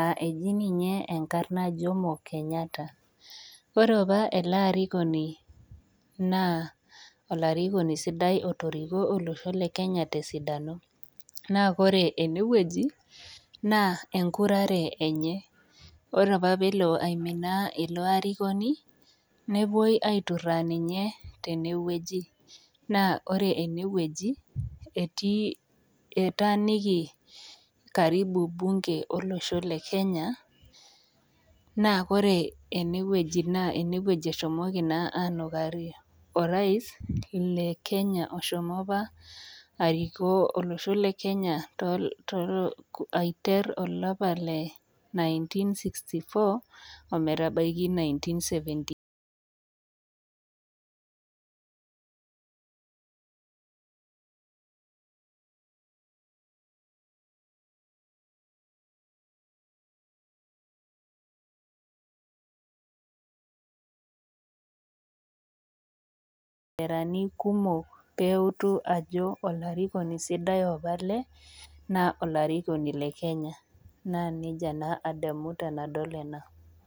Ah eji ninye enkarna Jomo Kenyatta. Ore apa ele arikoni naa, olarikoni sidai otoriko olosho le Kenya tesidano. Naa kore enewueji, naa enkurare enye. Ore apa pelo aiminaa ilo arikoni, nepoi aiturraa ninye tenewueji. Naa ore enewueji, etii etaaniki karibu bunke olosho le Kenya, naa kore enewueji naa enewueji eshomoki naa anukarie orais le Kenya oshomo apa arikoo olosho le Kenya aiter olapa le nineteen-sixty-four, ometabaiki nineteen-seventy kumok peutu ajo olarikoni sidai apa ele, naa olarikoni le Kenya. Naa nejia naa adamu tenadol ena.